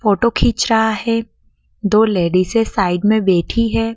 Photo खींच रहा है दो लेडीज हैं साइड में बैठी है।